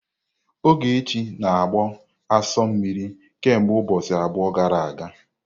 Ogechi na-agbụ asu mmiri kemgbe ụbọchị abụọ gara aga.